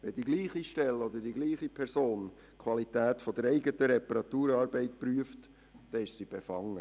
Wenn dieselbe Stelle oder dieselbe Person die Qualität der eigenen Reparaturarbeit prüft, dann ist sie befangen.